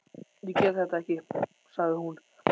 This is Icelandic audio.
Ég get þetta ekki, sagði hún.